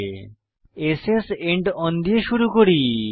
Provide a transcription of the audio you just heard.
s স্ end ওন দিয়ে শুরু করি